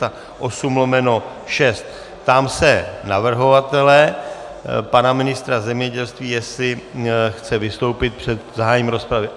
Ptám se navrhovatele, pana ministra zemědělství, jestli chce vystoupit před zahájením rozpravy.